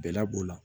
Bɛla b'o la